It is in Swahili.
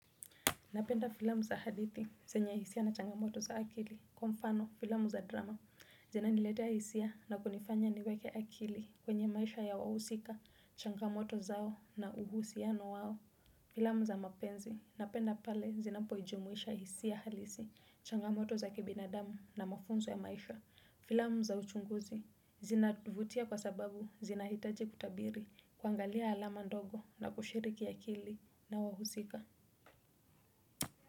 Napenda filamu za hadithi, zenye hisia na changamoto za akili, kwa mfano filamu za drama, zinaniletea hisia na kunifanya niweke akili kwenye maisha ya wahusika, changamoto zao na uhusiano wao. Filamu za mapenzi, napenda pale zinapojumuisha hisia halisi, changamoto za kibinadamu na mafunzo ya maisha. Filamu za uchunguzi, zinavutia kwa sababu, zinahitaji kutabiri, kuangalia alama ndogo na kushiriki akili na wahusika.